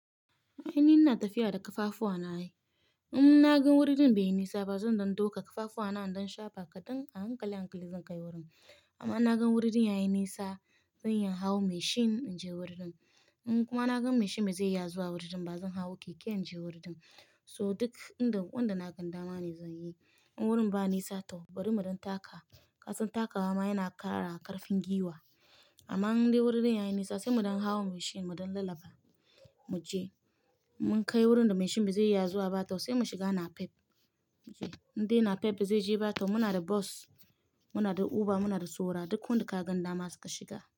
Ai ni ina tafiya da ƙafafuwa na ai. In naga wurin bai nisa ba zan dinga dauka ƙafafuwa na don shafa kaɗan a hankali hankali zan kai wurin. Amma naga wurin yayi nisa zan yi hau mashin in je wurin. In kuma naga mashin bazai iya zuwa wurin ba zan hau keke in je wurin. So duk wanda na ganda ma ne zan yi. In wurin ba nisa to bari muɗin taka. Kasan takawa ma yana ƙara ƙarfin gwiwa. Amma in dai wurin yayi nisa sai muɗin hau mashin muɗin lalaba mu je. Mun kai wurin da mashin bazai iya zuwa ba toh sai mu shiga napep mu je. In dai napep bazai je ba toh muna da bos, muna da uber, muna da suna, duk wanda ka ganda masa ka shiga.